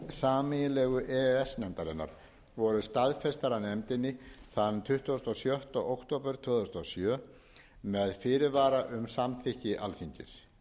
sameiginlegu e e s nefndarinnar voru staðfestar af nefndinni tuttugasta og sjötta október tvö þúsund og sjö með fyrirvara um samþykki alþingis